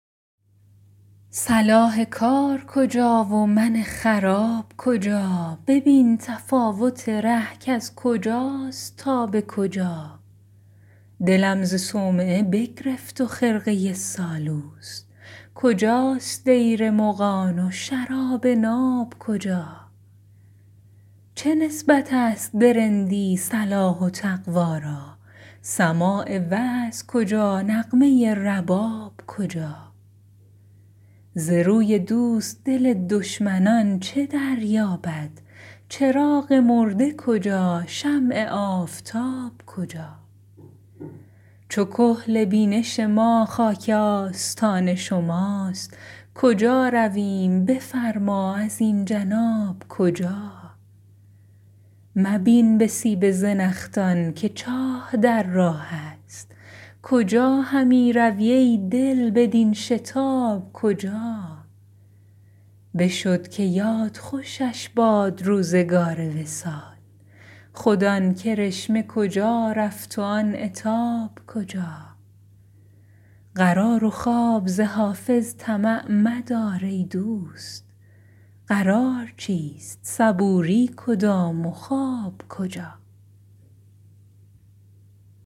صلاح کار کجا و من خراب کجا ببین تفاوت ره کز کجاست تا به کجا دلم ز صومعه بگرفت و خرقه سالوس کجاست دیر مغان و شراب ناب کجا چه نسبت است به رندی صلاح و تقوا را سماع وعظ کجا نغمه رباب کجا ز روی دوست دل دشمنان چه دریابد چراغ مرده کجا شمع آفتاب کجا چو کحل بینش ما خاک آستان شماست کجا رویم بفرما ازین جناب کجا مبین به سیب زنخدان که چاه در راه است کجا همی روی ای دل بدین شتاب کجا بشد که یاد خوشش باد روزگار وصال خود آن کرشمه کجا رفت و آن عتاب کجا قرار و خواب ز حافظ طمع مدار ای دوست قرار چیست صبوری کدام و خواب کجا